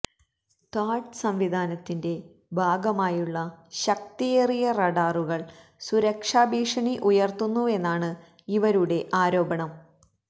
താഡ് സംവിധാനത്തിന്റെ ഭാഗമായുള്ള ശക്തിയേറിയ റഡാറുകള് സുരക്ഷാഭീഷണി ഉയര്ത്തുന്നുവെന്നാണ് ഇവരുടെ ആരോപണം